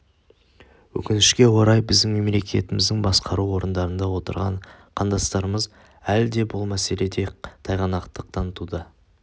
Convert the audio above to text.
өкінішке орай біздің мемлекетіміздің басқару орындарында отырған қандастарымыз әлі де бұл мәселеде тайғанақтық танытуда